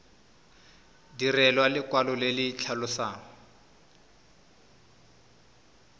direlwa lekwalo le le tlhalosang